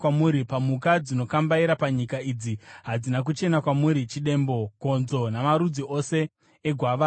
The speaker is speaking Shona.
“ ‘Pamhuka dzinokambaira panyika, idzi hadzina kuchena kwamuri: chidembo, gonzo, namarudzi ose egwavava,